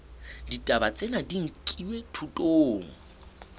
ditaba tsena di nkilwe thutong